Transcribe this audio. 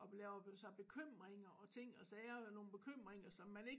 Og laver sig bekymringer og ting og sager nogle bekymringer som man ikke